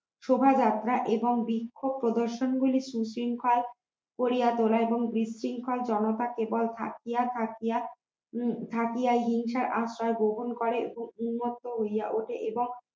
শোভাযাত্রা এবং বিক্ষোভ প্রদর্শন গুলি উৎশৃংখল করিয়া তোলা এবং বিশৃঙ্খল জনতাকে কেবল থাকিয়া থাকিয়া থাকিয়া হিংসার আশ্রয় গোপন করেন ও উন্মত্ত হইয়া ওঠে এবং